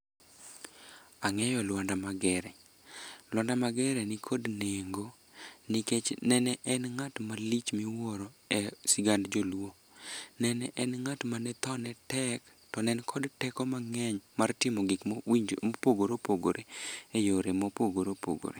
Ang'eyo Luanda Magere. Luanda Magere nikod nengo nikech nene en ng'at malich miwuoro e sigand joluo, nene en ng'at ma thone tek to ne en kod teko mang'eny mar timo gik mopogore opogore e yore mopogore opogore.